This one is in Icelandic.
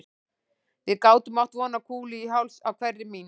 Við gátum átt von á kúlu í háls á hverri mín